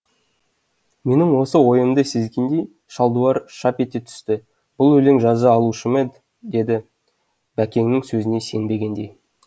менің осы ойымды сезгендей шалдуар шап ете түсті бұл өлең жаза алушы ма еді деді бәкеңнің сөзіне сенбегендей